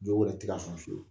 Jo wɛrɛ tɛ ka san fiwu